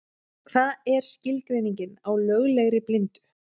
Hvað er skilgreiningin á löglegri blindu?